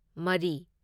ꯃꯔꯤ